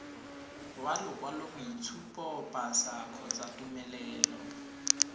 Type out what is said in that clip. wa lokwaloboitshupo pasa kgotsa tumelelo